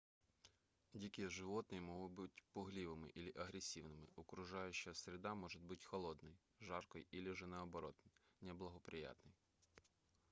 дикие животные могут быть пугливыми или агрессивными окружающая среда может быть холодной жаркой или же наоборот неблагоприятной